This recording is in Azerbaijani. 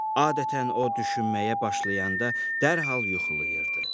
Adətən o düşünməyə başlayanda dərhal yuxulayırdı.